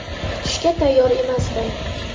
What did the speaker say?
Kutishga tayyor emasdim.